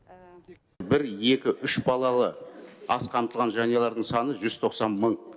бір екі үш балалы аз қамтылған жанұялардың саны жүз тоқсан мың